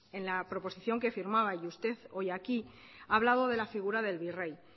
en la proposición que firmaba y usted hoy aquí ha hablado de la figura del virrey